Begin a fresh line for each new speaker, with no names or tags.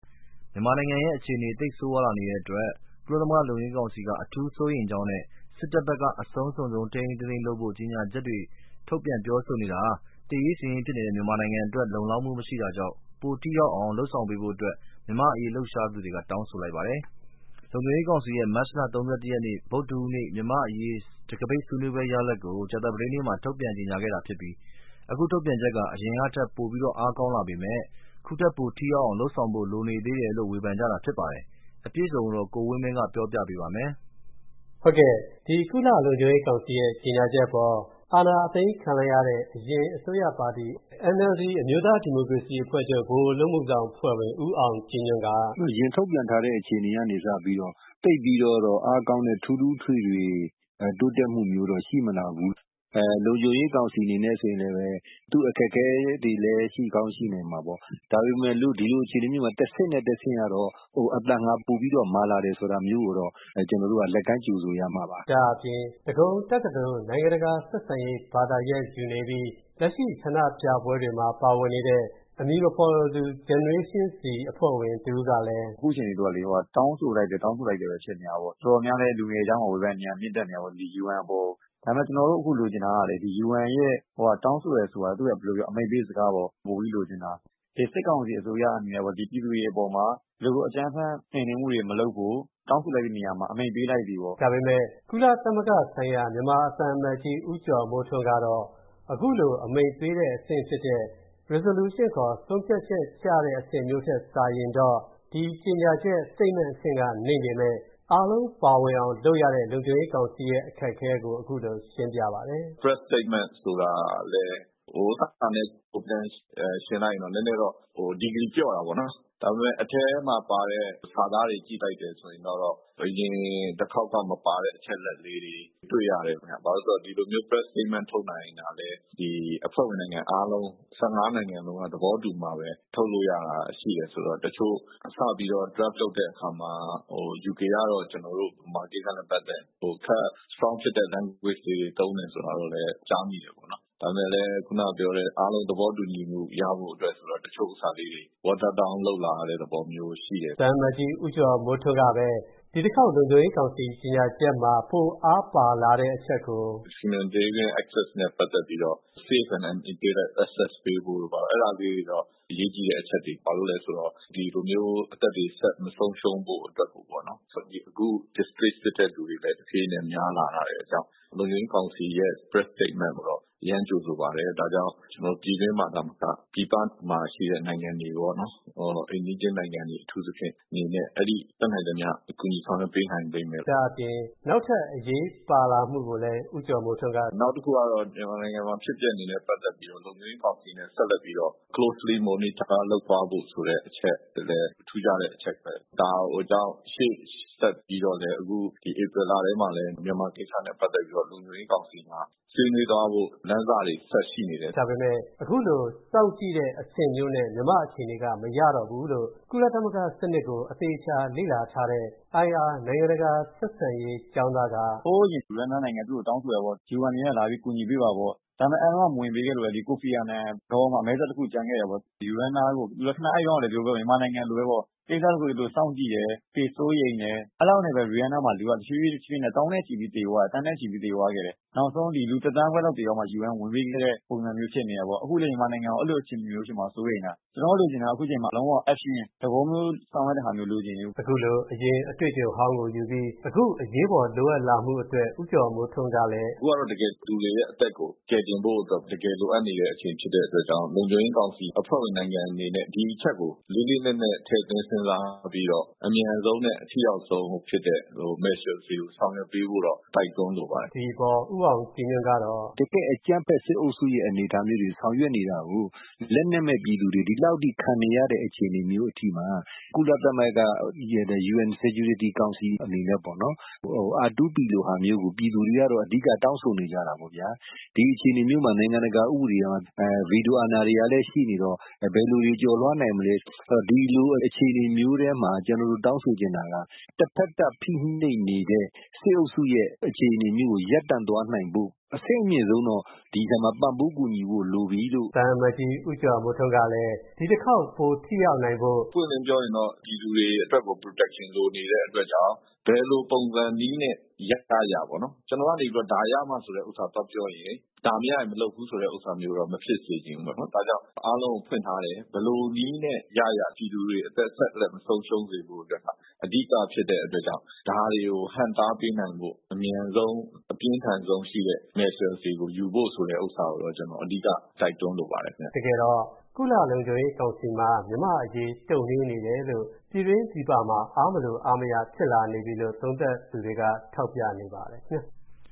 မြန်မာနိုင်ငံရဲ့ အခြေနေသိပ်ဆိုးဝါးလာနေတာအတွက် ကုလသမဂ္ဂလုံခြုံရေးကောင်စီက အထူးစိုးရိမ်ကြောင်းနဲ့ စစ်တပ်ဘက်က အဆုံးစွန်းထိန်းထိန်းသိမ်းသိမ်း လုပ်ဖို့ ကြေညာချက်ထုတ်ပြန်ပြောဆိုမှုဟာ သေရေးရှင်ရေးဖြစ်နေတဲ့ မြန်မာနိုင်ငံအတွက် လုံလောက်မှုမရှိတာကြောင့် ပိုထိရောက်အောင် လုပ်ဆောင်ပေးဖို့ မြန်မာ့အရေးလှုပ်ရှားနေသူတွေက တောင်းဆိုလိုက်ပါတယ်။ လုံခြုံရေးကောင်စီရဲ့ မတ်လ ၃၁ ရက် ဗုဒ္ဓဟူးနေ့ မြန်မာ့အရေး တံခါးပိတ်ဆွေးနွေးပွဲရလဒ်ကို ကြာသပတေးနေ့မှာ ထုတ်ပြန် ကြေညာခဲ့တာ ဖြစ်ပြီး အခု ထုတ်ပြန်ချက်ဟာ အရင်ကထက် ပိုအားကောင်းလာပေမယ့် ခုထက်ပိုထိရောက်အောင် လုပ်ဆောင်ဖို့လိုနေ
သေးတယ်လို့ ဝေဖန်ကြတာ ဖြစ်ပါတယ်။အပြည့်အစုံကို ကိုဝင်းမင်းက ပြောပြပေးပါမယ်။ ဒီ ကုလ လုံခြုံရေးကောင်စီရဲ့ကြေညာချက်အပေါ် အာဏာသိမ်းခံလိုက်ရတဲ့ အရင်အစိုးရပါတီ NLD အမျိုးသားဒီမိုကရေစီအဖွဲ့ချုပ် ဗဟိုအလုပ်အမူဆောင်အဖွဲ့ဝင် ဦးအောင်ကြည်ညွန့်က “
သူတို့ အရင်ထုတ်ပြန်ထားတဲ့ အချိန်ကနေစပြီးတော့ သိပ်ပြီးတော့ အားကောင်းတဲ့ ထူးထူးထွေထွေ တိုးတက်မှုမျိုးတော့ ရှိမလာဘူး။ လုံခြုံရေးကောင်စီအနေနဲ့လည်း သူ့အခက်အခဲတွေလည်း ရှိကောင်းရှိနိုင်မှာပေါ့ ဒါပေမယ့်လို့ ဒီလိုအခြေအနေမျိုးမျာ တဆင့်နဲ့ တဆင့်ကတော့ ပိုပြီးတော့ အသံမာလာတယ် ဆိုတာမျိုးကိုတော့ ကျနော်တို့ကတော့ လက်ကမ်းကြိုဆိုရမှာ
ပါ။” ဒါ့အပြင် ဒဂုံတက္ကသိုလ်၊ နိုင်ငံတကာဆက်ဆံရေးပညာဘာသာရပ် ယူနေပြီး လက်ရှိ ဆန္ဒပြပွဲတွေမှာ ပါဝင်နေတဲ့ အမည်မဖော်လိုသူ Generation Z အဖွဲ့ဝင်တဦးကလည်း “
အခုအချိန် သူတို့က တောင်းဆိုလိုက်တယ်၊ တောင်းဆိုလိုက်တယ် ဆိုတာပဲ ဖြစ်နေတာပေ့ါ။ တော်တော်များများလည်း လူငယ်တွေကြားမှာ ဝေဖန်သံတွေက မြင့်တက်နေတာပေါ့ UN အပေါ်ကို။ ဒါပေမယ့် ကျနော်တို့အခုလိုချင်နေတာက UNရဲ့ တောင်းဆိုတယ်ဆိုတာ ဘယ်လိုပြောမလဲ သူ့ရဲ့ အမိန့်ပေးစကားပေါ့ အဲဒါကို ပိုပြီးလိုချင်တာ။ စစ်ကောင်စီအစိုးရအနေနဲ့ ပြည်သူတွေအပေါ်မှ
ာ အကြမ်းဖက် နှိမ်နင်းမှုတွေ မလုပ်ဘူး ၊ တောင်းဆိုလိုက်တဲ့နေရာမှာ အမိန့်ပေးလိုက်သည်ပေါ့။” ဒါပေမယ့် ကုလသမဂ္ဂဆိုင်ရာ မြန်မာသံအမတ်ကြီး ဦးကျော်မိုးထွန်းကတော့ အခုလို အမိန့်ပေးတဲ့အဆင့်ဖြစ်တဲ့ resolution ဆုံးဖြတ်ချက်ကျတဲ့ အဆင့်မျိုးထက်စာရင်တော့ ဒီကြေညာချက် Statement အဆင့်က နိမ့်ပေမယ့် အားလုံးပါဝင်အောင် လုပ်ရတဲ့ လုံခြုံရေးကောင်စီရဲ့ အခက်အခဲကို အခုလို ရှင်းပြပါတယ်
။ “Press Statement ဆိုတာက ဟိုဟာနဲ့ ယှဉ်လိုက်ရင်တော့ Degree ပျော့တာပေါေ့နာ် ။ ဒါပေမယ့် အထဲမှာ ပါတဲ့ စာသားတွေ ကြည့်လိုက်တယ်ဆိုရင်တော့ အရင်တခေါက်က မပါတဲ့ အချက်အလက်လေးတွေ တွေ့ရတယ်ခင်ဗျာ ။ ဘာဖြစ်လို့လဲဆိုတော့ ဒီလိုမျိုး Press Statement ထုတ်နိုင်တာလည်း အဖွဲ့ဝင်နိုင်ငံအားလုံး ၁၅ နိုင်ငံလုံးက သဘောတူမှပဲ ထုတ်လို့ရတာရှိတယ်ဆိုတော့ တချို့ စပြီးတော့ Draft လုပ်တဲ့အခါမှာ UK ကတော့ ကျနော်တို့ မြန်မာကိစ္စနဲ့ ပတ်သက်ရင် Strong ဖြစ်တဲ့ language လေးတွေ သုံးမယ်ဆိုတာတော့လည်း ကြားမိတယ်ပေါ့နော်။ ဒါပေမယ့်လည်း ခုနက ပြောတဲ့ အားလုံး သဘောတူညီမှု ရဖို့ဆိုတော့ တချို့ဟာလေးတွေ watered down လုပ်လာရတာမျိုးရှိတယ်။” သ
ံအမတ်ကြီး ဦးကျော်မိုးထွန်းကပဲ ဒီတခေါက် လုံခြုံရေးကောင်စီ ကြေညာချက်မှာ ပိုအားပါလာတဲ့ အချက်ကို
“Humanitarian Access နဲ့ ပတ်သက်ပြီးတော့ safe and unimpeded access ပေးဖို့တို့ အဲဒါမျိုးတွေတော့ အရေးကြီးတဲ့ အချက်တွေ ဘာလို့လဲဆိုတော့ ဒီလိုမျိုး အသက်တွေ ဆက်မဆုံးရှုံးဖို့အတွက်ကို ၊ နောက်အခု displaced ဖြစ်တဲ့လူတွေလည်း တဖြေးဖြေးနဲ့ များလာတာတွေ ။ လုံခြုံရေးကောင်စီရဲ့ Press Statement ကိုတော့ အရမ်းကြိုဆိုပါတယ်။ ဒါ့ကြောင့် ကျနော်တို့ ပြည်တွင်းမှာတင်မက ပြည်ပမှာပါ ၊ ပြည်ပမှာရှိတဲ့ နိုင်ငံတွေရော အိမ်နီးချင်းနိုင်ငံတွေ အထူးသဖြင့် တတ်နိုင်သမျှ ကူညီဆောင်ရွက်ပေးနိုင်လိမ့်မယ်လို
့။” ဒါ့အပြင် နောက်ထပ်အရေးပါလာမှုကိုလည်း ဦးကျော်မိုးထွန်းက “နောက်တခုကတော့ မြန်မာနိုင်ငံမှာ ဖြစ်ပျက်နေတာနဲ့ ပတ်သက်ပြီးတော့ လုံခြုံရေးကောင်စီအနေနဲ့ ဆက်လက်ပြီးတော့
Closely Monitor လုပ်သွားဖို့ဆိုတဲ့အချက်တွေလည်း ထူးခြားတဲ့အချက် ။ ဒါကြောင့် ရှေ့ဆက်ပြီးတော့လည်း အခု ဧပြီလထဲမှာလည်း မြန်မာကိစ္စတွေနဲ့ ပတ်သက်ပြီးတော့ လုံခြုံရေးကောင်စီမှာ ဆွေးနွေးသွားဖို့ လမ်းစတွေ ဆက်ပြီးတော့ရှိနေတယ်။” ဒါ
ပေမယ့် အခုလို စောင့်ကြည့်တဲ့ အဆင့်မျိုးနဲ့ မြန်မာ့အခြေအနေက မရတော့ဘူးလို့ ကုလသမဂ္ဂစနစ်ကို အသေအချာလေ့လာထားတဲ့ IR နိုင်ငံတကာဆက်ဆံရေး ကျောင်းသားက “
ဟိုးအရင် Rwanda နိုင်ငံ သူ့ကို တောင်းဆိုတယ်ပေါ့ UN လာပြီး ကူညီပေးပါပေါ့၊ ဒါပေမယ့် အဲဒီတုန်းက မဝင်ပေးခဲ့လို့လဲ Kofi Annan မှာ အမဲစက်တခု ကျန်ခဲ့တယ်ပေါ့ ။ အဲဒီတုန်းကလည်း Rwanda နိုင်ငံက မြန်မာနိုင်ငံလိုပဲပေါ့ ၊ ကိစ္စတခုကို စောင့်ကြည့်တယ်၊ စိုးရိမ်တယ် အဲဒီလောက်နဲ့ပဲ Rwanda မှာ တဖြေးဖြေးနဲ့ လူတွေ သောင်းနဲ့ချီပြီး သန်းနဲ့ ချီပြီးသေသွားတယ်။ နောက်ဆုံး လူ ၁ သန်းခွဲလောက်သေတော့မှ UN က ဝင်ပေးခဲ့တဲ့ ပုံစံမျိုးဖြစ်နေတယ
်ပေါ့။ အခုလည်း မြန်မာနိုင်ငံကိုအဲလိုအခြေအနေမျိုး ဖြစ်မှာ စိုးရိမ်တာ။ ကျနော်တို့ လိုချင်တာက အခုအချိန်မှာ လုံးဝကို Action သဘောမျိုး ဆောင်ရွက်တဲ့ဟာမျိုး လိုချင်တယ်။” အခုလို အရင်အတွေ့အကြုံဟောင်းကို ယူပြီး အခုအရေးပေါ်လိုအပ်လာမှုအတွက် ဦးကျော်မိုးထွန်းကလည်း “အ
ခုကတော့ လူတွေအသက်ကို ကယ်တင်ဖို့အတွက်ကို တကယ်လိုအပ်နေတဲ့ အချိန်ဖြစ်တဲ့အတွက်ကြောင့် လုံခြုံရေးကောင်စီအဖွဲ့ဝင်နိုင်ငံတွေအနေနဲ့ ဒီအချက်ကို လေးလေးနက်နက် ထည့်သွင်းစဉ်းစားပြီးတော့ အမြန်ဆုံးနဲ့ အထိရောက်ဆုံးဖြစ်တဲ့ Measure တွေကို ဆောင်ရွက်ပေးဖို့တော့ တိုက်တွန်းလိုပါတယ်
။” ဒီအပေါ် ဦးအောင်ကြည်ညွန့်ကတော့ “တကယ့်အကြမ်းဖက် စစ်အုပ်စုရဲ့အနေအထားမျိုးတွေ ဆောင်ရွက်နေတာကို လက်နက်မဲ့ပြည်သူတွေ ဒီလောက်အထိ ခံနေရတဲ့ အခြေအနေမျိုးအထိမှာ ကုလသမဂ္ဂနဲ့ လုံခြုံရေးကောင်စီ အနေနဲ့ပေါ့နော် R2P ဟာလိုမျိုးကို ပြည်သူတွေက အဓိက တောင်းဆိုနေကြတာပေါ့ဗျာ။ ဒီအခြေအနေမျိုးမှာ နိုင်ငံတကာ ဥပဒေရော ဗီဒိုအာဏာလည်း ရှိနေတော့ ဘယ်လိုတွေ ကျော်လွှားနိုင်မလဲ ။ ဒီလိုအခြေအနေမျိုးထဲမှာ ကျနော်တို့ တောင်းဆိုချင်တာက တဖက်သတ်ဖိနှိပ်နေတဲ့ စစ်အုပ်စုရဲ့ အခြေအနေမျိုးကို ရပ်တန့်သွားနိုင်ဖို့ အဆင့်အမြင့်ဆုံးကတော့ ဒီအချိန်မှာ ပံ့ပိုးကူညီဖို့ လိုပြီ
လို့။” သံအမတ်ကြီး ဦးကျော်မိုးထွန်းကလည်း ဒီတခေါက် ပိုထိရောက်နိုင်ဖို့
“ ပွင့်ပွင့်လင်းလင်းပြောရရင်တော့ ပြည်သူတွေအတွက်ကို Protection လိုနေတဲ့အတွက်ကြောင့် ဘယ်လိုပုံစံနည်းနဲ့ ရရပေါ့။ ကျနော်ကနေပြီးတော့ ဒါရမှ ဆိုတာသွားပြောရင် ဒါမရရင် မလုပ်ဘူးဆိုတဲ့ဟာမျိုးတော့ မဖြစ်စေချင်ဘူးပေါ့နော် ဒါကြောင့် အားလုံးကို ဖွင့်ထားတယ်။ ဘယ်လိုနည်းနဲ့ ရရ ပြည်သူတွေ အသက်ဆက်လက် မဆုံးရှုံးစေဖို့အတွက် အဓိကဖြစ်တဲ့အတွက်ကြောင့် ဒါတွေကို ဟန့်တားပေးနိုင်ဖို့ အမြန်ဆုံး အပြင်းထန်ဆုံးရှိတဲ့ Measure တွေကို ယူဖို့ ဆိုတဲ့ဟာကိုတော့ ကျနော် အဓိက တိုက်တွန်းလိုပါတယ်
။” တကယ်တော့ ကုလသမဂ္ဂလုံခြုံရေးကောင်စီမှာ မြန်မာ့အရေး တုံ့နှေးနေတယ်လို့ ပြည်တွင်း ပြည်ပမှာ အားမလို အားမရဖြစ်လာနေပြီလို့ သုံးသပ်သူတွေက ထောက်ပြနေပါတယ
်။